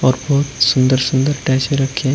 और बहोत सुंदर सुंदर अटैची रखे हैं।